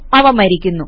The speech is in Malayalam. അവ മരിക്കുന്നു